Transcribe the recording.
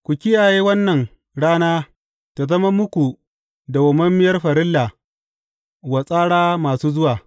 Ku kiyaye wannan rana ta zama muku dawwammamiyar farilla wa tsara masu zuwa.